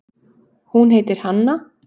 Hún heitir Hanna.